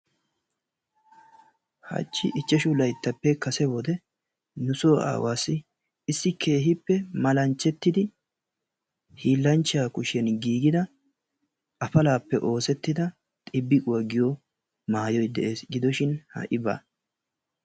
Hachchi ichchashu layttappe kase wodiyan nu so aawasi issi keehi malanchetidi hiilanchchaa kushiyan giigida afalappe oosettida xibiquwa giyo maayoy de'ees. gidoshin ha"i baa.